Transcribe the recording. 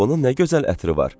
bunun nə gözəl ətri var!